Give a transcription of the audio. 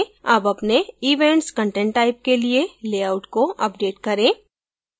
अब अपने events content type के लिए लेआउट को अपडेट करें